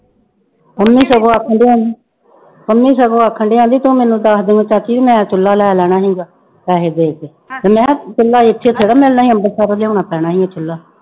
ਪੰਮੀ ਸਗੋਂ ਆਖਣਡਿਆ ਪੰਮੀ ਸਗੋਂ ਆਖਣਡਿਆ ਵੀ ਤੂੰ ਮੈਨੂੰ ਦੱਸ ਦਿੰਦੀ ਚਾਚੀ, ਮੈਂ ਚੁੱਲਾ ਲੈ ਲੈਣਾ ਸੀਗਾ ਪੈਸੇ ਦੇ ਕੇ, ਤੇ ਮੈਂ ਚੁੱਲਾ ਇੱਥੇ ਕਿਹੜਾ ਮਿਲਣਾ ਸੀ ਅੰਬਰਸਰੋਂ ਲਿਆਉਣਾ ਪੈਣਾ ਸੀ ਚੁੱਲਾ।